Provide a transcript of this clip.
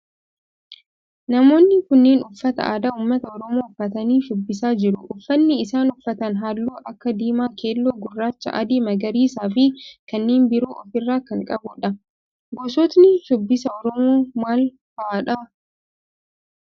Namoonni kunneen uffata aadaa ummata oromoo uffatanii shubbisaa jiru. Uffanni isaan uffatan halluu akka diimaa, keelloo, gurraacha, adii, magariisaa fi kanneen biroo of irraa kan qabudha. Gosootni shubbisa oromoo maal fa'aadha?